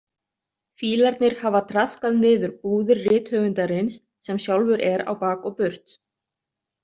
Fílarnir hafa traðkað niður búðir rithöfundarins, sem sjálfur er á bak og burt.